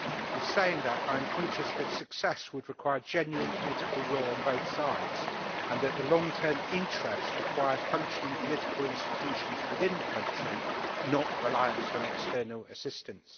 In saying that, I am conscious that success would require genuine political will on both sides and that the long-term interests require functioning political institutions within the country, rather than reliance on external assistance.